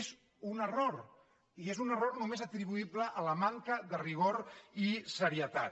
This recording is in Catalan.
és un error i és un error només atribuïble a la manca de ri·gor i serietat